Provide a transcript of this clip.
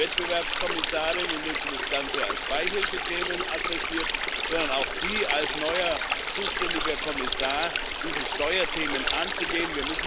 Nicht nur die Wettbewerbskommissarin, indem sie das Ganze als Beihilfethemen adressiert, sondern auch Sie, als neuer zuständiger Kommissar, diese Steuerthemen anzugehen.